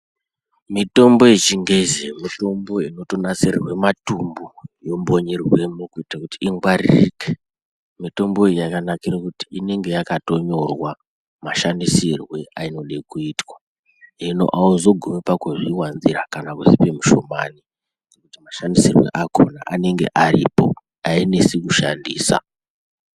Mitombo yechingezi mitombo inotonasirirwe matumbu yombonyerwemo kuita kuti ingwaririke, mitombo iyi yamanakira kuti inenge yakatonyorwa mashandisirwe ainode kuitwa hino auzogumi pakuzviwanzira kana kuzvipe mushomani ngekuti mashandisirwe akona anenge aripo ainesi kushandisa.